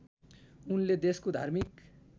उनले देशको धार्मिक